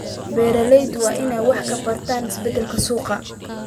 Beeraleydu waa inay wax ka bartaan isbeddelka suuqa.